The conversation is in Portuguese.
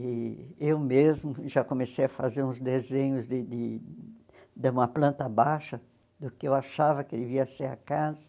E eu mesma já comecei a fazer uns desenhos de de de uma planta baixa, do que eu achava que devia ser a casa.